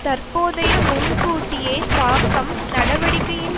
தற்போதைய முன்கூட்டியே தாக்கம் நடவடிக்கையின்